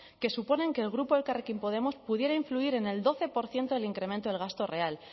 que suponen que el grupo elkarrekin podemos pudiera influir en el doce por ciento del incremento del gasto real